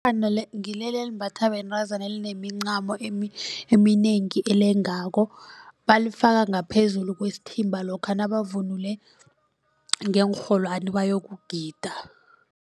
ngilela elimbatha bentazana elinemincamo eminengi elengako balifake ngaphezulu kwesithimba lokha nabavunule ngeenrholwani bayokugida.